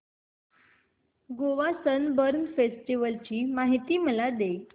Goa Sunburn festival ची माहिती मला दे